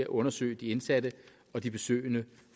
undersøge de indsatte og de besøgende